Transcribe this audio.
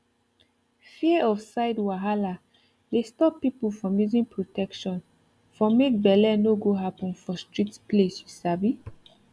fear of side wahala dey stop people from using protection for make bele no go happen for strict place you sabi